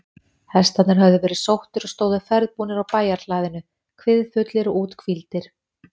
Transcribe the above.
Hestarnir höfðu verið sóttir og stóðu ferðbúnir á bæjarhlaðinu, kviðfullir og úthvíldir.